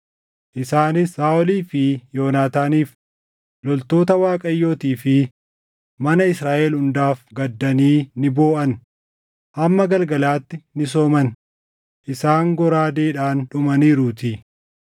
Isaanis Saaʼolii fi Yoonaataaniif, loltoota Waaqayyootii fi mana Israaʼel hundaaf gaddanii ni booʼan; hamma galgalaatti ni sooman; isaan goraadeedhaan dhumaniiruutii.